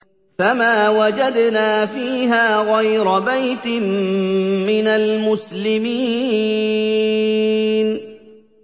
فَمَا وَجَدْنَا فِيهَا غَيْرَ بَيْتٍ مِّنَ الْمُسْلِمِينَ